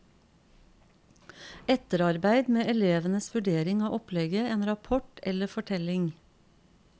Etterarbeid med elevenes vurdering av opplegget, en rapport eller fortelling.